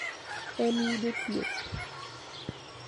En yudo thieth.